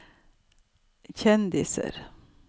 kjendiser